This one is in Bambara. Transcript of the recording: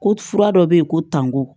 Ko fura dɔ bɛ yen ko tango